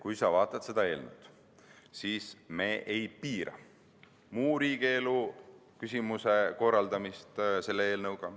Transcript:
Kui sa vaatad seda eelnõu, siis näed, et me ei piira sellega muu riigielu küsimuse korraldamist.